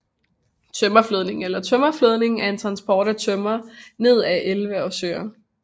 Tømmerflådning eller Tømmerflødning er transport af tømmer ned ad elve og søer